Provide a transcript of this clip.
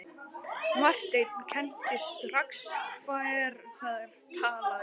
Marteinn kenndi strax hver þar talaði.